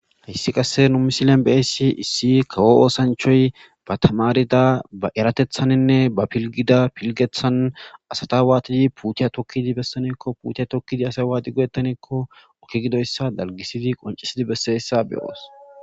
Hayissi qase nuu missilenni beyissi issi kawo oththanichchayi baa tamaridda baa erataththennine baa poligida piligeththanni asata watidi putiya tokidi besanne giko putiya tokidi wani go'etannekko be'ishshe dizayissa besses.